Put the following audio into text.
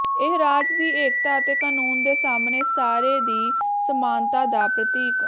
ਇਹ ਰਾਜ ਦੀ ਏਕਤਾ ਅਤੇ ਕਾਨੂੰਨ ਦੇ ਸਾਹਮਣੇ ਸਾਰੇ ਦੀ ਸਮਾਨਤਾ ਦਾ ਪ੍ਰਤੀਕ